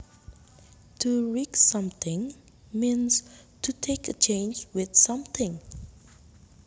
To risk something means to take a chance with something